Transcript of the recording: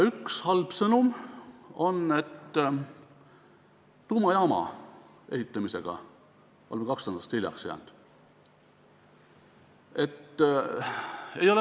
Üks halb sõnum on, et tuumajaama ehitamisega oleme lootusetult hiljaks jäänud.